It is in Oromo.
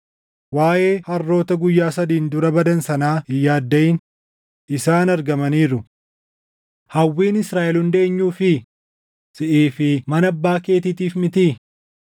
Waaʼee harroota guyyaa sadiin dura badan sanaa hin yaaddaʼin; isaan argamaniiru. Hawwiin Israaʼel hundi eenyuufii? Siʼii fi mana abbaa keetiitiif mitii?”